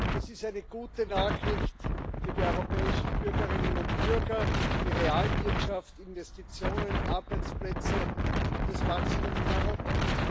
Das ist eine gute Nachricht für die europäischen Bürgerinnen und Bürger, die Realwirtschaft, Investitionen, Arbeitsplätze und das Wachstum in Europa.